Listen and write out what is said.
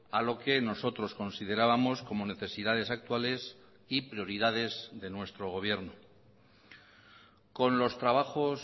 a lo que nosotros considerábamos como necesidades actuales y prioridades de nuestro gobierno con los trabajos